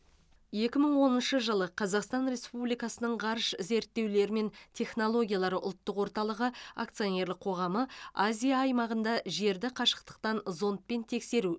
екі мың оныншы жылы қазақстан республикасының ғарыш зерттеулері мен технологиялары ұлттық орталығы акционерлік қоғамы азия аймағында жерді қашықтықтан зондпен тексеру